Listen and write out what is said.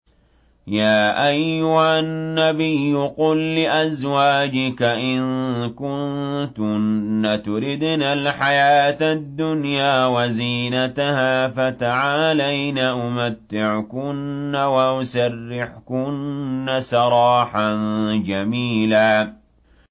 يَا أَيُّهَا النَّبِيُّ قُل لِّأَزْوَاجِكَ إِن كُنتُنَّ تُرِدْنَ الْحَيَاةَ الدُّنْيَا وَزِينَتَهَا فَتَعَالَيْنَ أُمَتِّعْكُنَّ وَأُسَرِّحْكُنَّ سَرَاحًا جَمِيلًا